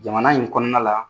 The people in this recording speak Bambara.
Jamana in kɔnɔna la